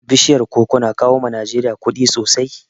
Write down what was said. Bishiyar koko na kawo wa Najeriya kuɗi sosai